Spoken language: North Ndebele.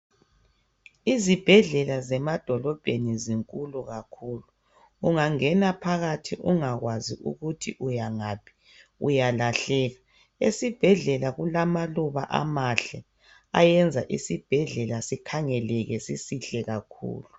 Izibhedlela zemadolobheni zinkulu kakhulu ungangena phakathi ungakwazi ukuthi uyangaphi uyalahleka esibhedlela kulamaluba amahle ayenza isibhedlela sikhangeleke sisihle kakhulu.